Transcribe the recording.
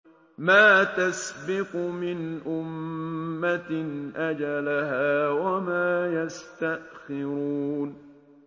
مَا تَسْبِقُ مِنْ أُمَّةٍ أَجَلَهَا وَمَا يَسْتَأْخِرُونَ